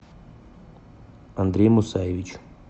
андрей мусаевич